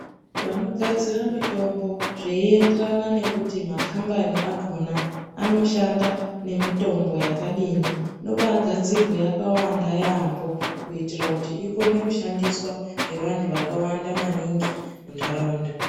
Vanogadzira mitombo zveienderana nekuti makhambani akhona anoshanda nemitombo yakadini. Inobaagadzirwa yakawanda yaamho kuitira kuti ikone kushandiswa nevantu vakawanda maningi muntaraunda.